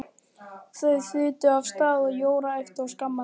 Þau þutu af stað og Jóra æpti og skammaði